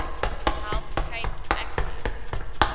help cape access